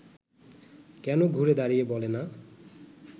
কেন ঘুরে দাঁড়িয়ে বলে না